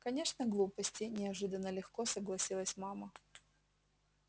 конечно глупости неожиданно легко согласилась мама